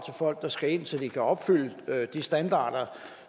folk der skal ind så de kan opfylde de standarder